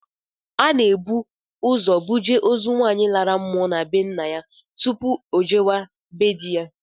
Ana ebu ụzọ buje ozu nwaanyị lara mmụọ na be ńnà yá tụpụ ojewe be di ya.